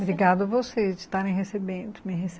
Obrigada a você de estar me recebendo me recebe